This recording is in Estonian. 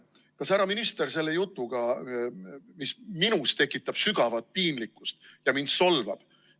Kas härra minister sellist juttu, mis minus tekitab sügavat piinlikkust ja solvab mind, ka häbeneb?